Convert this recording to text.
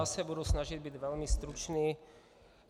Já se budu snažit být velmi stručný.